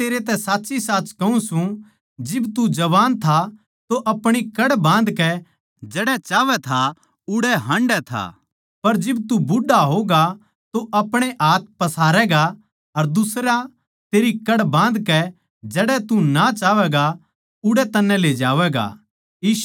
मै तेरै तै साच्चीसाच कहूँ सूं जिब तू जवान था तो अपणी कड़ बाँधकै जड़ै चाहवै था उड़ै हाँडै था पर जिब तू बुढ़ा होगा तो अपणे हाथ पसारैगा अर दुसरा तेरी कड़ बाँधकै जड़ै तू ना चाहवैगा उड़ै तन्नै ले जावैगा